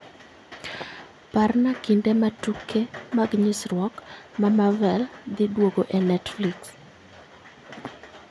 Parna kinde ma tuke mag nyisrwok ma Marvel dhi duogo e netflix